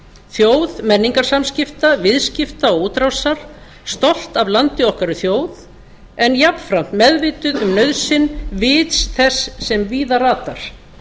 þjóð menningarsamskipta viðskipta og útrásar stolt af landi okkar og þjóð en jafnframt meðvituð um nauðsyn vits þess sem víða ratar